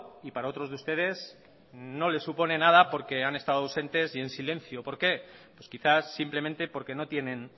y para otros de ustedes no les supone nada porque han estado ausentes y en silencio por qué pues quizás simplemente porque no tienen